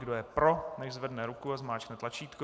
Kdo je pro, nechť zvedne ruku a zmáčkne tlačítko.